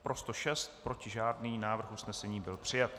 Pro 106, proti žádný, návrh usnesení byl přijat.